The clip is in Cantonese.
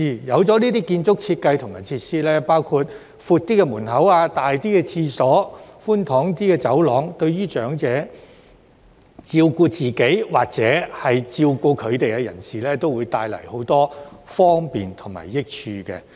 有了這些建築設計和設施，包括較闊的門口、較大的廁所、寬敞一些的走廊，對於長者照顧自己，或照顧他們的人士，也會帶來很多方便和益處。